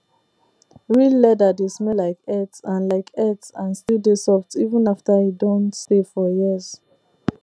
real leather dey smell like earth and like earth and still dey soft even after e don stay for years